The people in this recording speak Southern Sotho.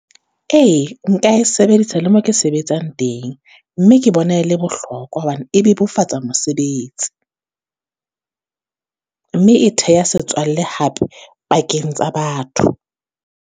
Ee, nka e sebedisa le mo ke sebetsang teng, mme ke bona e le bohlokwa hobane e bebofatsa mosebetsi. Mme e theha setswalle hape pakeng tsa batho.